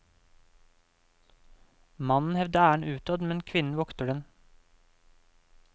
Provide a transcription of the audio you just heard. Mannen hevder æren utad, men kvinnen vokter den.